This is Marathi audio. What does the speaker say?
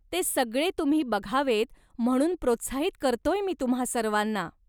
ते सगळे तुम्ही बघावेत म्हणून प्रोत्साहित करतोय मी तुम्हा सर्वाना.